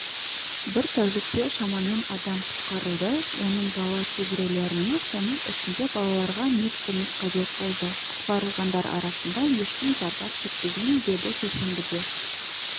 бір тәулікте шамамен адам құтқарылды оның бала кейбіреулеріне соның ішінде балаларға медкөмек қажет болды құтқарылғандар арасында ешкім зардап шекпеген деді сейсенбіде